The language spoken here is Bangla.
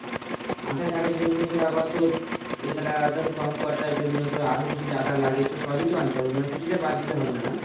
আধার card এর জন্য ধর আবার তোর এতটা ধর computer এর জন্য ধর আরও কিছু যা যা লাগে সবই তো আনতে হবে মানে কিছু টাই বাদ দিলে হবে না না